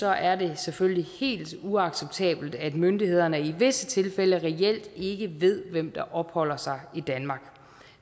er det selvfølgelig helt uacceptabelt at myndighederne i visse tilfælde reelt ikke ved hvem der opholder sig i danmark